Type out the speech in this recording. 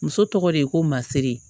Muso tɔgɔ de ye ko masiri ye